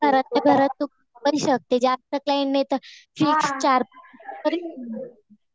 आणि कसं घरातल्या घरात तू करू पण शकते. आपलं क्लायन्ट नाही तर फिक्स